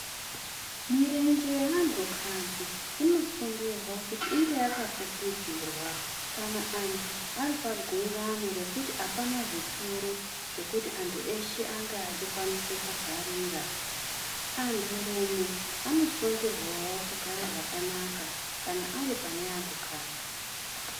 Mirenje yeantukadzi inosungirwa kuti inge yakafukidzirwa, kana antu ari pagungano rekuti apana zvituru zvekuti antu eshe ange achikwanisa kugarira. Anturume anosungirwawo kugare zvakanaka, kana ari pane antukadzi.